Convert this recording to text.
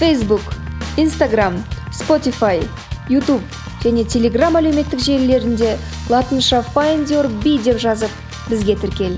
фейсбук инстаграмм спотифай ютуб және телеграмм әлеуметтік желілерінде латынша файндюрби деп жазып бізге тіркел